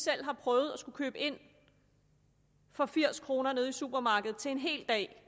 har prøvet at skulle købe ind for firs kroner nede i supermarkedet til en hel dag